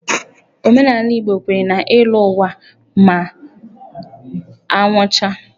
Omenala Igbo kwenyere na ịlọ ụwa ma a nwụchaa.